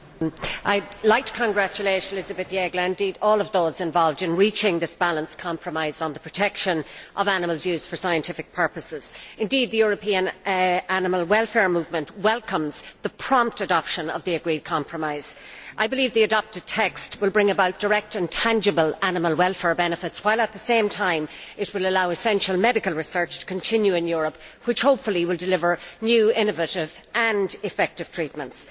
Mr President, I would like to congratulate Elizabeth Jeggle, and all of those involved, in reaching this balanced compromise on the protection of animals used for scientific purposes. Indeed, the European animal welfare movement welcomes the prompt adoption of the agreed compromise. I believe the adopted text will bring about direct and tangible animal welfare benefits while, at the same time, it will allow essential medical research to continue in Europe, which hopefully will deliver new, innovative and effective treatments.